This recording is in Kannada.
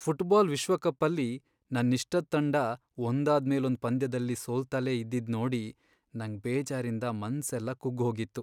ಫುಟ್ಬಾಲ್ ವಿಶ್ವಕಪ್ಪಲ್ಲಿ ನನ್ನಿಷ್ಟದ್ ತಂಡ ಒಂದಾದ್ಮೇಲೊಂದ್ ಪಂದ್ಯದಲ್ಲಿ ಸೋಲ್ತಲೇ ಇದ್ದಿದ್ ನೋಡಿ ನಂಗ್ ಬೇಜಾರಿಂದ ಮನ್ಸೆಲ್ಲ ಕುಗ್ಗ್ ಹೋಗಿತ್ತು.